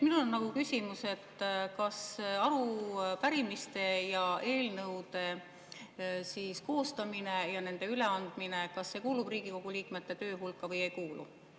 Minul on küsimus: kas arupärimiste ja eelnõude koostamine ja nende üleandmine kuulub Riigikogu liikmete töö hulka või ei kuulu?